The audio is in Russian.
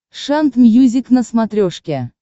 шант мьюзик на смотрешке